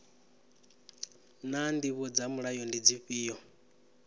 naa ndivho dza mulayo ndi dzifhio